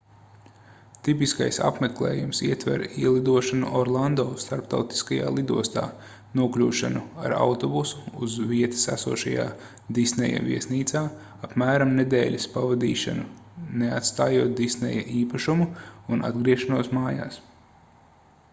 tipiskais apmeklējums ietver ielidošanu orlando starptautiskajā lidostā nokļūšanu ar autobusu uz vietas esošajā disneja viesnīcā apmēram nedēļas pavadīšanu neatstājot disneja īpašumu un atgriešanos mājās